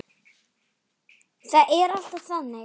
Það er alltaf þannig.